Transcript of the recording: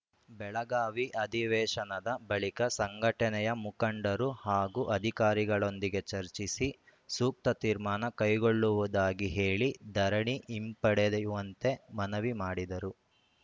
ಬೆಳಗಾವಿ ಅಧಿವೇಶನದ ಬಳಿಕ ಸಂಘಟನೆಯ ಮುಖಂಡರು ಹಾಗೂ ಅಧಿಕಾರಿಗಳೊಂದಿಗೆ ಚರ್ಚಿಸಿ ಸೂಕ್ತ ತೀರ್ಮಾನ ಕೈಗೊಳ್ಳುವುದಾಗಿ ಹೇಳಿ ಧರಣಿ ಹಿಂಪದೆಡೆಯುವಂತೆ ಮನವಿ ಮಾಡಿದರು